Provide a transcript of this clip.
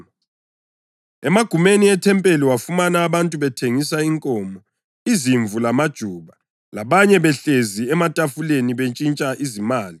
Emagumeni ethempeli wafumana abantu bethengisa inkomo, izimvu lamajuba, labanye behlezi ematafuleni bentshintsha izimali.